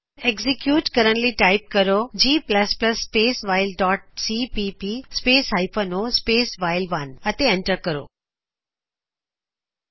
execute ਕਰਨ ਲਈ type ਕਰੋ G plus plus space while dot C P P space hyphen O space while 1ਜੀ space while dot CPP space hyphen O space ਵਾਈਲ1 ਅਤੇ enter ਕਰੋ